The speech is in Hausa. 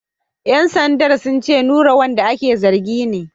‘Yan sandan sun ce Nura wanda ake zargi ne.